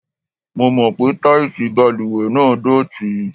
Mo mọ̀ pé táìsì balùwẹ̀ náà dọ̀tí.